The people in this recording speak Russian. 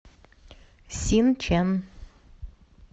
синчэн